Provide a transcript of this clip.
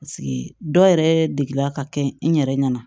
dɔ yɛrɛ degela ka kɛ n yɛrɛ ɲɛna